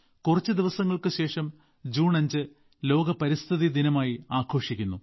കുറച്ച് ദിവസങ്ങൾക്ക് ശേഷം ജൂൺ 5 ലോക പരിസ്ഥിതി ദിനം ആയി ആഘോഷിക്കുന്നു